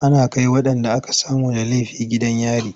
Ana kai waɗanda aka samu da laifi gidan yari.